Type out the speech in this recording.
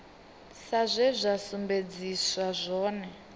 sa zwe zwa sumbedziswa zwone